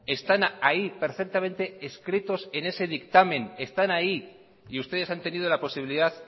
están ahí perfectamente escritos en ese dictamen están ahí y ustedes han tenido la posibilidad